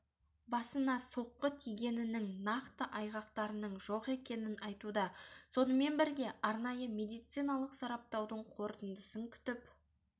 басына соққы тигенінің нақты айғақтарының жоқ екенін айтуда сонымен бірге арнайы медициналық сараптаудың қорытындысын күтіп